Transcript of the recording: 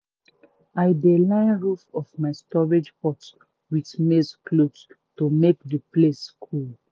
i dey line roof of my storage hut with maize cloth to make the place cool.